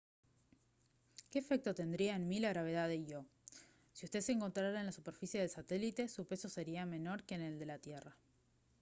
¿qué efecto tendría en mí la gravedad de io? si usted se encontrara en la superficie del satélite su peso sería menor que en la tierra